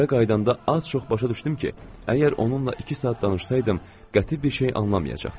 Evə qayıdanda az-çox başa düşdüm ki, əgər onunla iki saat danışsaydım, qəti bir şey anlamayacaqdım.